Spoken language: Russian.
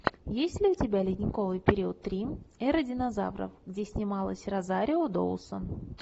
есть ли у тебя ледниковый период три эра динозавров где снималась розарио доусон